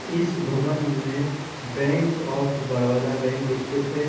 इस भवन में बैंक ऑफ बडौदा बैक स्थित है।